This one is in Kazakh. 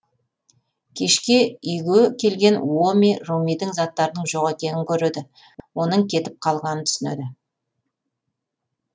кешке үйге келген уоми румидің заттарының жоқ екенін көреді оның кетіп қалғанын түсінеді